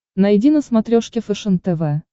найди на смотрешке фэшен тв